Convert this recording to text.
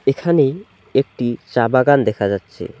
এখানে একটি চা বাগান দেখা যাচ্ছে।